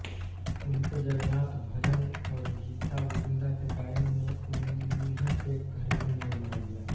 उनके जगन्नाथ भजन और गीता गोविंदा के गायन ने उन्हें एक घरेलू नाम बना दिया